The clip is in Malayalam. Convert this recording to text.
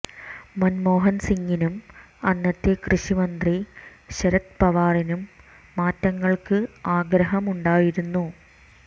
മൻമോഹൻ സിംഗിനും അന്നത്തെ കൃഷി മന്ത്രി ശരത് പവാറിനും മാറ്റങ്ങൾക്ക് ആഗ്രഹമുണ്ടായിരുന്നു